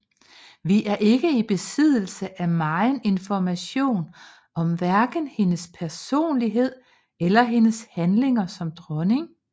Vi er ikke i besiddelse af megen information om hverken hendes personlighed eller hendes handlinger som dronning